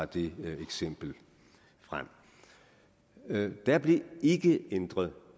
det eksempel frem der blev ikke ændret